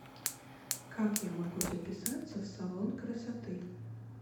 как я могу записаться в салон красоты